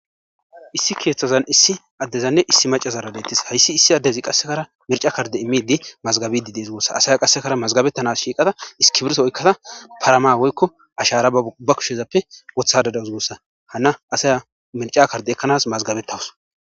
issi keeththazan issi addezanne issi macazaara deettis hayssi issi addezi qassekara mirca karde immidi mazgabidi dees gussa asaya qassekara mazgabettanas shiiqada iskibirto oykkada parama woykko ashara ba kushezappe wothada dawus gussa hana asaya mirca karde ekkanas mazgabettawus